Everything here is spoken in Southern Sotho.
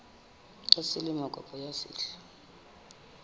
ya selemo kapa ya sehla